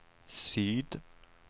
syd